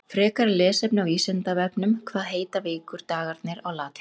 Frekara lesefni á Vísindavefnum Hvað heita vikudagarnir á latínu?